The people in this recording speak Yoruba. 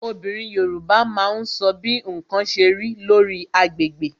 Obìnrin Yorùbá máa ń sọ bí ǹkan ṣe rí, lórí agbègbè